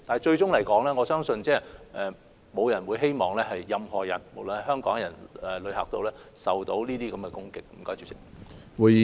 最終來說，我相信沒有人希望任何人——無論是香港人或旅客——會受到這些攻擊。